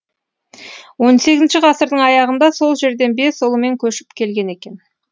он сегізінші ғасырдың аяғында сол жерден бес ұлымен көшіп келген екен